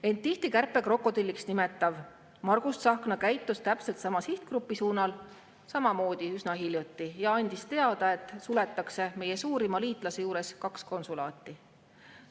End tihti kärpekrokodilliks nimetav Margus Tsahkna käitus täpselt sama sihtgrupi suunal üsna hiljuti samamoodi ja andis teada, et meie suurima liitlase juures suletakse kaks konsulaati.